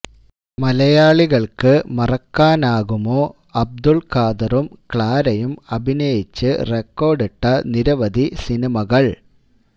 മലയാളികള്ക്ക് മറക്കാനാകുമോ അബ്ദുള് ഖാദറും ക്ലാരയും അഭിനയിച്ച് റെക്കോര്ഡിട്ട നിരവധി സിനിമകള്